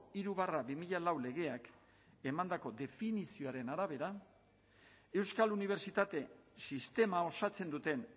hiru barra bi mila lau legeak emandako definizioaren arabera euskal unibertsitate sistema osatzen duten